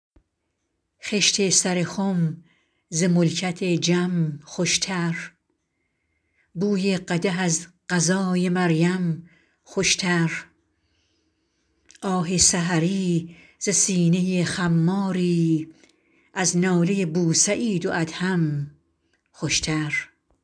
خشت سر خم ز ملکت جم خوشتر بوی قدح از غذای مریم خوشتر آه سحری ز سینه خماری از ناله بوسعید و ادهم خوشتر